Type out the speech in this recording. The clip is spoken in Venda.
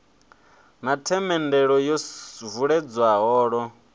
na themendelo yo vuledzwa holo